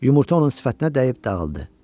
Yumurta onun sifətinə dəyib dağıldı.